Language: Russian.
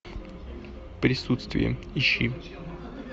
присутствие ищи